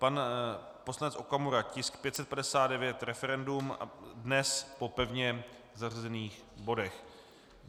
Pan poslanec Okamura, tisk 559, referendum, dnes po pevně zařazených bodech.